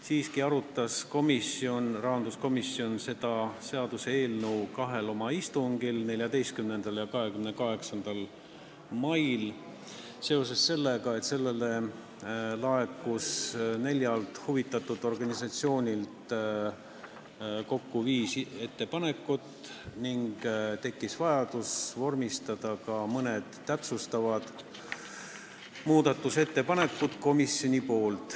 Siiski arutas rahanduskomisjon seda seaduseelnõu kahel istungil, 14. ja 28. mail, seoses sellega, et meile laekus neljalt huvitatud organisatsioonilt kokku viis ettepanekut ning tekkis vajadus vormistada ka mõned täpsustavad muudatusettepanekud komisjoni nimel.